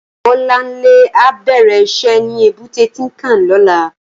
Bolanle á bèrè iṣè ni ébùté Tinkán lòlá